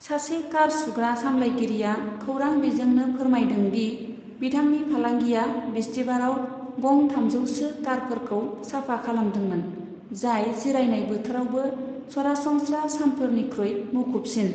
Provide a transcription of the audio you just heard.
सासे कार सुग्रा सामलायगिरिया खौरां बिजोंनो फोरमायदों दि बिथांनि फालांगिया बिस्तिबाराव गं थामजौसो कारफोरखौ साफा खालामदोंमोन, जाय जिरायनाय बोथोरावबो सरासनस्रा सानफोरनिख्रुइ मुखुबसिन।